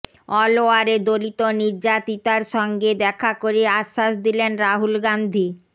অলওয়ারে দলিত নির্যাতিতার সঙ্গে দেখা করে আশ্বাস দিলেন রাহুল গান্ধী